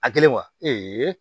A kɛlen wa